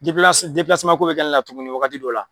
Depilasi ko bɛ kɛ ne la tuguni wagati dɔ la.